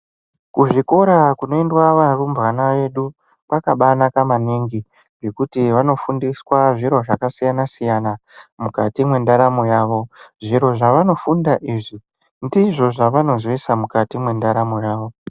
Kuzvikora kunoenda varumbwana vedu kwakabaanaka maningi ngekuti vanofundiswa zviro zvaka siyana siyana mukati mwendaramo yavo zviro zvavanofunda izvi ndizvo zvavanozoisa mukati mwendaramo yavo.